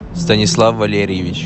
станислав валерьевич